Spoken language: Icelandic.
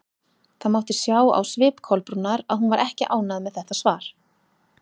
Það mátti sjá á svip Kolbrúnar að hún var ekki ánægð með þetta svar.